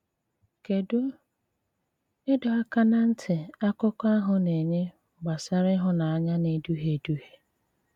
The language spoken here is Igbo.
Kédụ́ ìdọ̀ àkà na ntị àkụkọ̀ ahụ̀ na-ènyè gbasàrà ìhụ̀nànyà na-èdùhíè èdùhíè?